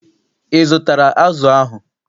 Ị zụtara azụ ahụ?